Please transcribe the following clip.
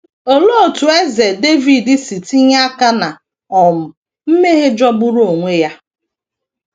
Olee otú Eze Devid si tinye aka ná um mmehie jọgburu onwe ya?